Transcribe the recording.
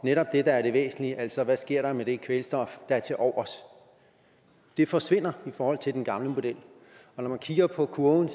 netop det der er det væsentlige altså hvad der sker med det kvælstof der er tilovers det forsvinder i forhold til den gamle model og når man kigger på kurven